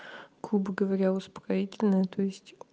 грубо говоря успокоительное то есть